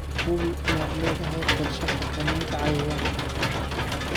Hubi inaad leedahay qorshe xakamaynta cayayaanka.